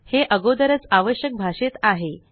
हे अगोदरच आवश्यक भाषेत आहे